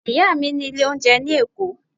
Ìyá mi ní ilé oúnjẹ ní Èkó.